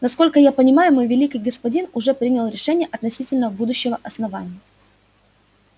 насколько я понимаю мой великий господин уже принял решение относительно будущего основания